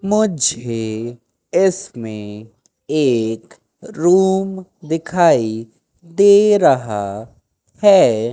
मुझे इसमें एक रूम दिखाई दे रहा है।